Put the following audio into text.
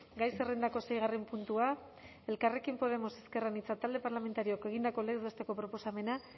gai zerrendako seigarren puntua elkarrekin podemos iu talde parlamentarioak egindako legez besteko proposamena